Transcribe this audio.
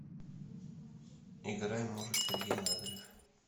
играй может сергей лазарев